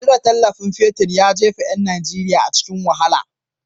Cire tallafin man fetir ya jefa yan Najeriya a cikin wahala.